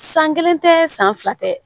San kelen tɛ san fila tɛ